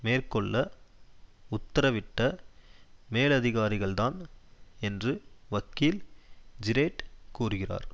மேற்கொள்ள உத்தரவிட்ட மேலதிகாரிகள்தான் என்று வக்கீல் ஜிரேட் கூறுகிறார்